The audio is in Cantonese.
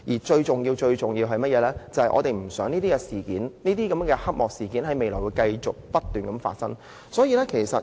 最重要的是，我們不希望這類黑幕事件在未來繼續不斷發生。